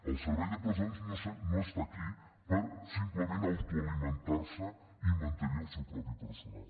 el servei de presons no està aquí per simplement autoalimentar se i mantenir el seu propi personal